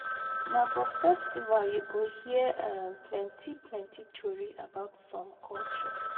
Na for festival yu go hear um plenti plenti tori about som culture